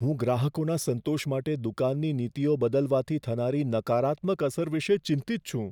હું ગ્રાહકોના સંતોષ માટે દુકાનની નીતિઓ બદલવાથી થનારી નકારાત્મક અસર વિશે ચિંતિત છું.